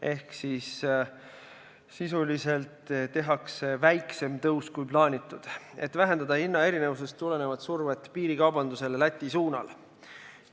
Ehk sisuliselt tehakse väiksem tõus kui plaanitud, et vähendada hinnaerinevusest tulenevat survet piirikaubandusele Läti suunal.